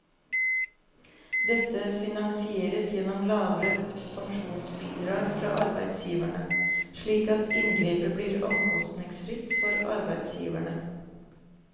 Dette finansieres gjennom lavere pensjonsbidrag fra arbeidsgiverne, slik at inngrepet blir omkostningsfritt for arbeidsgiverne.